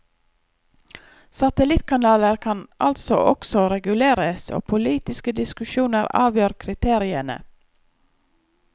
Satellittkanaler kan altså også reguleres, og politiske diskusjoner avgjør kriteriene.